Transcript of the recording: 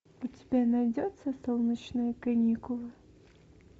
у тебя найдется солнечные каникулы